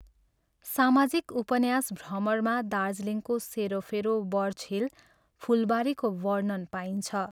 सामाजिक उपन्यास भ्रमरमा दार्जिलिङको सेरोफेरो बर्चहिल, फुलबारीको वर्णन पाइन्छ।